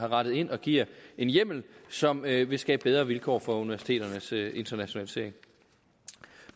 rettet ind og giver en hjemmel som vil vil skabe bedre vilkår for universiteternes internationalisering